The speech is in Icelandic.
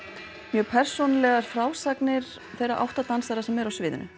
mjög persónulegar frásagnir þeirra átta dansara sem eru á sviðinu